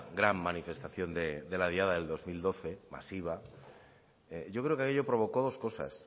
gran manifestación de la diada del dos mil doce masiva yo creo que aquello provocó dos cosas